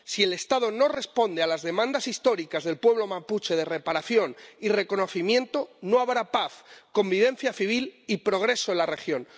Si el Estado no responde a las demandas históricas del pueblo mapuche de reparación y reconocimiento, no habrá paz, convivencia civil y progreso en la región.